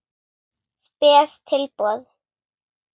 Spes tilboð.